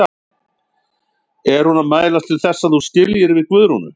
Er hún að mælast til þess að þú skiljir við Guðrúnu?